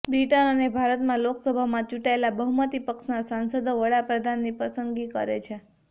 બ્રિટનમાં અને ભારતમાં લોકસભામાં ચુંટાયેલા બહુમતી પક્ષના સાંસદો વડાપ્રધાનની પસંદગી કરે છે